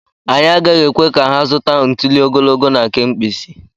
Anyị agaghị ekwe ka ha zụta ntuli ogologo na nke mkpịsị.